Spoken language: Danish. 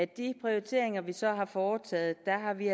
de prioriteringer vi så har foretaget har vi